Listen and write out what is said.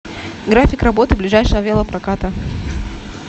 график работы ближайшего велопроката